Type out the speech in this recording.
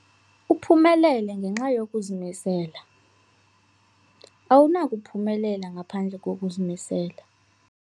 Uphumelele ngenxa yokuzimisela. awunakuphumelela ngaphandle kokuzimisela